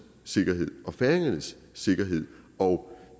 sikkerhed og færingernes sikkerhed og